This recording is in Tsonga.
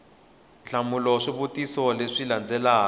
hlamula swivutiso leswi xi landzelaka